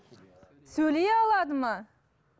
сөйлей алады ма